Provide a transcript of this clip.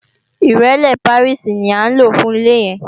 Ìrẹ́lé Pàríìsì ní à ń lò fún ilé yẹn